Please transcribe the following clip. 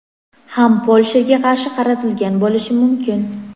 ham Polshaga qarshi qaratilgan bo‘lishi mumkin.